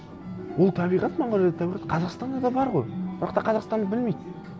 ол табиғат монғолиядағы табиғат қазақстанда да бар ғой бірақ та қазақстанды білмейді